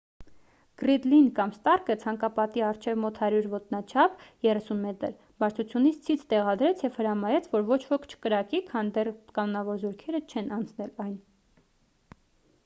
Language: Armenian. գռիդլին կամ ստարկը ցանկապատի առջև մոտ 100 ոտնաչափ 30 մ բարձրությամբ ցից տեղադրեց և հրամայեց որ ոչ ոք չկրակի քանի դեռ կանոնավոր զորքերը չեն անցել այն։